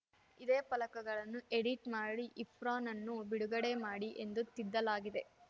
ಇದೇ ಫಲಕಗಳನ್ನು ಎಡಿಟ್‌ ಮಾಡಿ ಇರ್ಫಾನ್‌ನನ್ನು ಬಿಡುಗಡೆ ಮಾಡಿ ಎಂದು ತಿದ್ದಲಾಗಿದೆ